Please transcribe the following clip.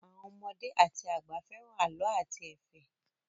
Àwọn ọmọdé àti àgbà fẹ́ràn àlọ́ àti ẹ̀fẹ̀.